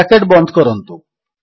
bracket ବନ୍ଦ କରନ୍ତୁ